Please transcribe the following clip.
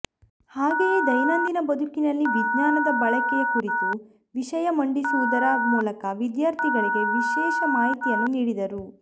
ಹಾಗೆಯೇದೈನಂದಿನ ಬದುಕಿನಲ್ಲಿ ವಿಜ್ಞಾನದ ಬಳಕೆಯ ಕುರಿತು ವಿಷಯ ಮಂಡಿಸುವುದರ ಮೂಲಕ ವಿದ್ಯಾರ್ಥಿಗಳಿಗೆ ವಿಶೇಷ ಮಾಹಿತಿಯನ್ನೂ ನೀಡಿದರು